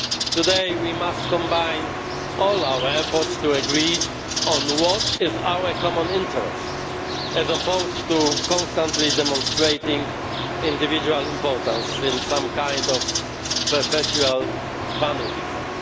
Today, we must combine all our efforts to agree on what our common interest is, as opposed to constantly demonstrating our individual importance in some kind of perpetual Vanity Fair.